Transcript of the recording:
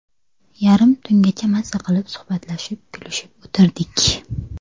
Yarim tungacha mazza qilib suhbatlashib, kulishib o‘tirdik.